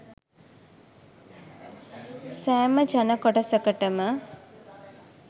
සෑම ජන කොටසකටම